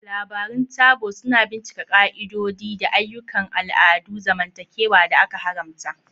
Labarun Taboo suna bincika ƙa'idodi da ayyukan al'adun zamantakewa da aka haramta.